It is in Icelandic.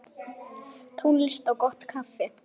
Tónlist og gott kaffi.